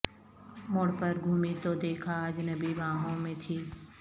موڑ پر گھومی تو دیکھا اجنبی بانہوں میں تھی